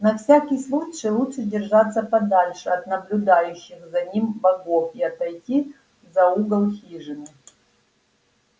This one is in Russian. на всякий случай лучше держаться подальше от наблюдающих за ним богов и отойти за угол хижины